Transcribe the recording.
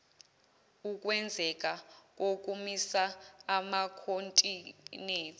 ukwenzeka kokumisa amakhontinethi